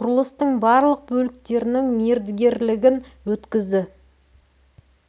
құрылыстың барлық бөліктерінің мердігерлігін өткізді